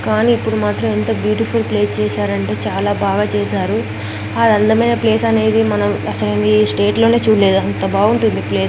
కానీ ఇప్పుడు మాత్రం ఎంత బ్యూటిఫుల్ ప్లేస్ చేశారంటే చాలా బాగా చేశారు ఆ అందమైన ప్లేస్ అనేది మనం అసలు ఈ స్టేట్ లోనే చూడలేదు అంత బాగుంటుంది ప్లే --